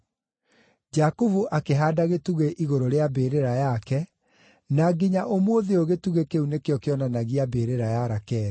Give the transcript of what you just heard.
Jakubu akĩhaanda gĩtugĩ igũrũ rĩa mbĩrĩra yake, na nginya ũmũthĩ ũyũ gĩtugĩ kĩu nĩkĩo kĩonanagia mbĩrĩra ya Rakeli.